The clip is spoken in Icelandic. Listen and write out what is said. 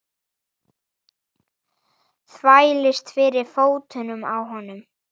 Þvælist fyrir fótunum á honum.